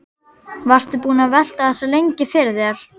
Varstu búinn að velta þessu lengi fyrir þér?